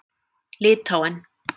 Litháen